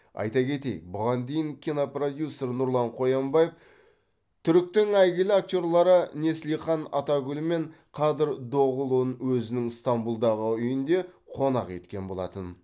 айта кетейік бұған дейін кинопродюсер нұрлан қоянбаев түріктің әйгілі актерлары неслихан атагүл мен қадыр доғыұлын өзінің стамбұлдағы үйінде қонақ еткен болатын